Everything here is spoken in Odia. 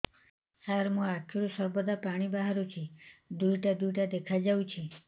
ସାର ମୋ ଆଖିରୁ ସର୍ବଦା ପାଣି ବାହାରୁଛି ଦୁଇଟା ଦୁଇଟା ଦେଖାଯାଉଛି